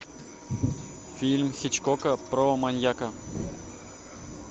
фильм хичкока про маньяка